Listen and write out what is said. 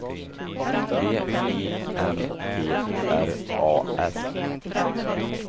V I N T R A S